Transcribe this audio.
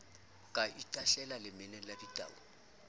ka itahlelang lemeneng la ditau